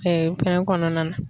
bɛn kɔnɔna na.